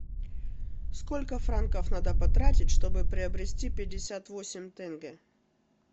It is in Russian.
сколько франков надо потратить чтобы приобрести пятьдесят восемь тенге